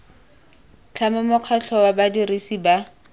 tlhama mokgatlho wa badirisi ba